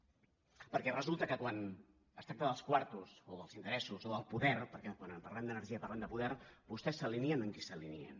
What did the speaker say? perquè resulta que quan es tracta dels quartos o dels interessos o del poder perquè quan parlem d’energia parlem de poder vostès s’alineen amb qui s’alineen